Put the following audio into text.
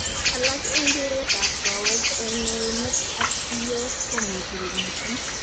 Alak en keret ap kowek en neunek ak siyok komuche komiten.